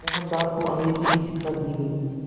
मोहनदास को अंग्रेज़ी की शिक्षा दी गई